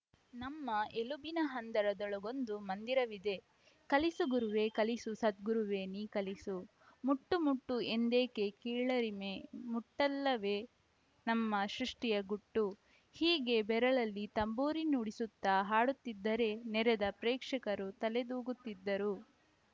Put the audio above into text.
ನಮ್ಮ ಎಲುಬಿನ ಹಂದರದೊಳಗೊಂದು ಮಂದಿರವಿದೆ ಕಲಿಸು ಗುರುವೇ ಕಲಿಸು ಸದ್ಗುರುವೇ ನೀ ಕಲಿಸು ಮುಟ್ಟು ಮುಟ್ಟು ಎಂದೇಕೆ ಕೀಳರಿಮೆ ಮುಟ್ಟಲ್ಲವೇ ನಮ್ಮ ಸೃಷ್ಠಿಯ ಗುಟ್ಟು ಹೀಗೆ ಬೆರಳಲ್ಲಿ ತಂಬೂರಿ ನುಡಿಸುತ್ತಾ ಹಾಡುತ್ತಿದ್ದರೆ ನೆರೆದ ಪ್ರೇಕ್ಷಕರು ತಲೆದೂಗುತ್ತಿದ್ದರು